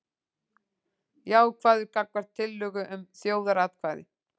Jákvæður gagnvart tillögu um þjóðaratkvæði